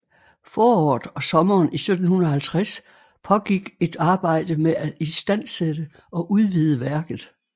Foråret og sommeren 1750 pågik et arbejde med at istandsætte og udvide værket